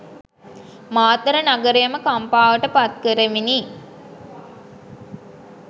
මාතර නගරයම කම්පාවට පත් කරමිනි.